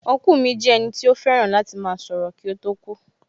Ọ́nkùlù mi jẹ́ ẹnì tí ó fẹ́ràn láti máa sọ̀rọ̀ kí ó tó kú